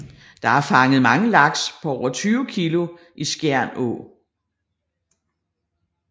Der er fanget mange laks på over 20 kilo i Skjern Å